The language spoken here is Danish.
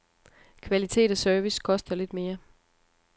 Kvalitet og service koster lidt mere.